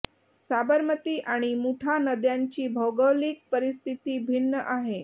साबरमती आणि मुठा नद्यांची भौगोलिक परिस्थिती भिन्न आहे